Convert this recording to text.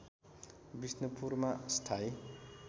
विष्णुपुरमा स्थायी